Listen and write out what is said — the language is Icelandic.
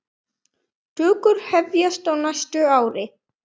Tökur hefjast á næsta ári.